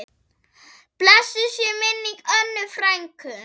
Blessuð sé minning Önnu frænku.